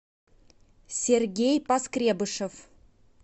сергей поскребышев